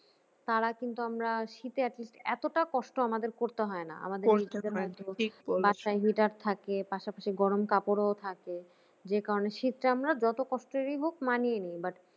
তারা কিন্তু আমরা শীতে at least এতটা কষ্ট আমাদের করতে হয় না বাসায় hitter থাকে পাশাপাশি গরম কাপড়ও থাকে যে কারণে শীত টা আমরা যত কষ্টই হোক মানিয়ে নি but